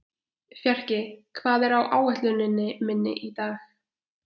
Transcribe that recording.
Ólíver, hvernig er veðurspáin?